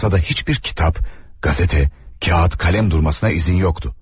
Masada hiçbir kitap, gazete, kağıt, kalem durmasına izin yoktu.